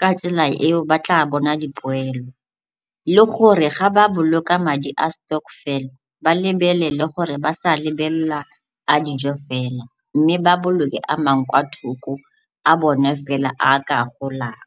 ka tsela eo ba tla bona dipoelo le gore ga ba boloka madi a stokvel ba lebelele gore ba sa lebelela a dijo fela mme ba boloke a mangwe kwa thoko a bone fela a a ka golang.